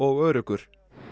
og öruggur